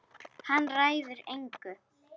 Hann ræður engu.